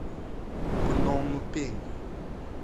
пномпень